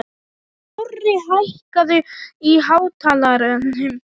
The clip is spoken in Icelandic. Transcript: Korri, hækkaðu í hátalaranum.